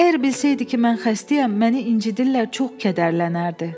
Əgər bilsəydi ki, mən xəstəyəm, məni incidirlər, çox kədərlənərdi.